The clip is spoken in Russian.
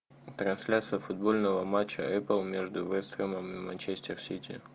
трансляция футбольного матча апл между вест хэмом и манчестер сити